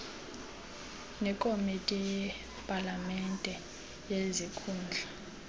nekomiti yepalamente yezikhundla